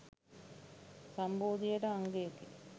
සම්බෝධියට අංගයකි